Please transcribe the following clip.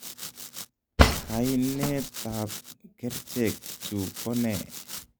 Kainet ap kercheek chu kone?